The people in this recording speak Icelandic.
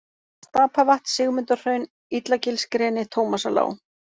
Stapavatn, Sigmundarhraun, Illagilsgreni, Tómasarlág